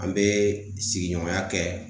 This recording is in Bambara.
An be sigiɲɔgɔnya kɛ